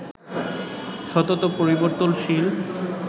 সতত পরিবর্তনশীল